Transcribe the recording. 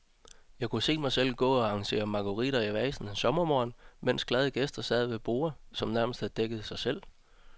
Jeg kunne se mig selv gå og arrangere marguritter i vaser en sommermorgen, mens glade gæster sad ved borde, som nærmest havde dækket sig selv.